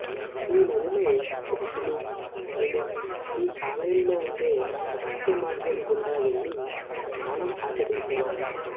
ఈ నదిలో ఋషులు మునులు ఈ ఆలయంలో ఉండే రహస్య మార్గం గుండా వెళ్లి స్నానం ఆచరించేవారట